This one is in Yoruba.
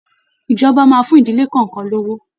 Ìjọba máa fún ìdílé kọ̀ọ̀kan lówó